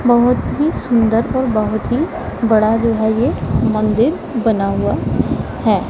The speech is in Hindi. बहोत ही सुंदर और बहोत ही बड़ा जो है ये मंदिर बना हुआ है।